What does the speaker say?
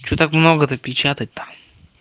что так много то печатать там